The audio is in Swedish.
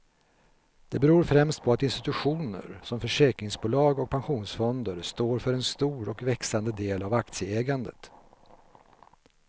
Det beror främst på att institutioner som försäkringsbolag och pensionsfonder står för en stor och växande del av aktieägandet.